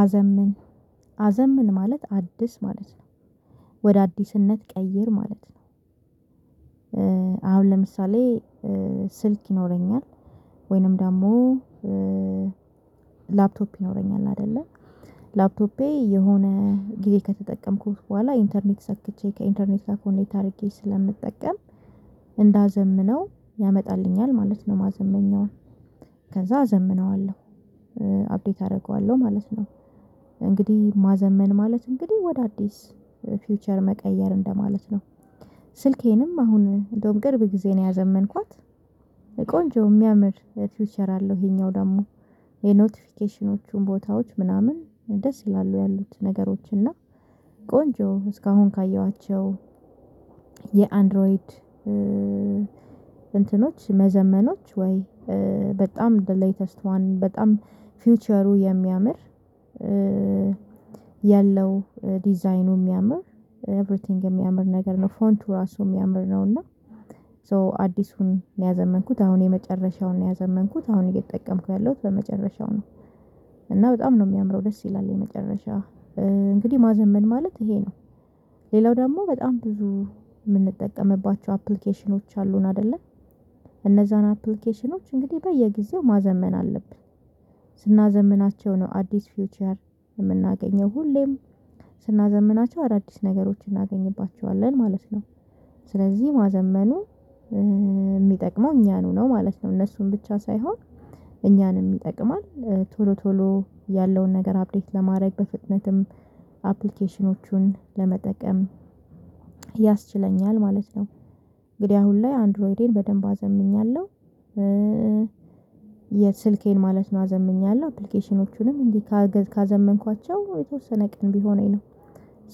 አዘምን አዘምን ማለት አድስ ማለት ነው ወደ አዲስነት ቀይር ማለት ነው። አሁን ለምሳሌ ስልክ ይኖረኛል። ወይንም ደግሞ ላፕቶፕ ይኖረኛል አይደለ ላፕቶፔ የሆነ ጊዜ ከተጠቀምኩት በኋላ ኢንተርኔት ሰክቼ ከኢንተርኔት ኮኔክት አድርጌ ስለምጠቀም እንዳዘምነው ያመጣልኛል ማለት ነው። ማዘመኛውን ከዛ አዘምነዋለሁ አፕዴት አደርገዋለሁ ማለት ነው። እንግዲህ ማዘመን ማለት እንግዲህ ወደ አዲስ ፊውቸር መቀየር እንደማለት ነው። ስልኬንም አሁን እንደዉም ቅርብ ጊዜ ነው ያዘመንኳት። ቆንጆ የሚያምር ፊዉቸር አለው ይሄኛው ደግሞ የኖቲፊኬሽኖቹን ቦታዎች ምናምን ደስ ይላሉ ያሉት ነገሮች እና ቆንጆ እስካሁን ካየኋቸው የአንድሮይድ እንትኖች መዘመኖች ወይ በጣም ዘ ሌተስት ዋን በጣም ፊውቸሩ የሚያምር ያለው ዲዛይኑ የሚያምር ኤቭሪቲንግ የሚያምር ነገር ነው ፎንቱ ራሱ የሚያምር ነውና። ሶ አዲሱን ያዘመንኩት አሁን የመጨረሻውን ያዘመንኩት አሁን እየተጠቀምኩ ያለሁት በመጨረሻው ነው። እና በጣም ነው የሚያምረው ደስ ይላል የመጨረሻ እንግዲህ ማዘመን ማለት ይሄ ነው። ሌላው ደግሞ በጣም ብዙ የምንጠቀምባቸው አፕሊኬሽኖች አሉን አይደለ እነዛን አፕሊኬሽኖች እንግዲህ በየጊዜው ማዘመን አለብን። ስናዘምናቸው ነው አዲስ ፊውቸር የምናገኘው ሁሌም ስናዘምናቸው አዳዲስ ነገሮችን እናገኝባቸዋለን ማለት ነው። ስለዚህ ማዘመኑ የሚጠቅመው እኛኑ ነው ማለት ነው። እነሱን ብቻ ሳይሆን እኛንም ይጠቅማል ቶሎ ቶሎ ያለውን ነገር አፕዴት ለማድረግ በፍጥነትም አፕሊኬሽኖቹን ለመጠቀም ያስችለኛል ማለት ነው። እንግዲህ አሁን ላይ አንድሮይዴን በደንብ አዘምኛለሁ የስልኬን ማለት ነው አዘምኛለሁ አፕሊኬሽኖቹንም እንዲ ካዘመንኳቸው የተወሰነ ቀን ቢሆነኝ ነው